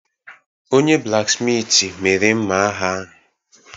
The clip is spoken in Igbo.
Onye-blaksmitị mere mma agha ahụ.